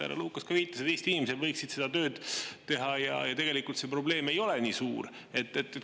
Härra Lukas ka viitas, et Eesti inimesed võiksid seda tööd teha ja tegelikult see probleem ei ole nii suur.